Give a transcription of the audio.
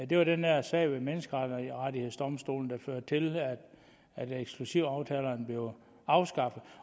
det var den der sag ved menneskerettighedsdomstolen der førte til at eksklusivaftalerne blev afskaffet